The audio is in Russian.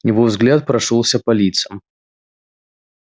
его взгляд прошёлся по лицам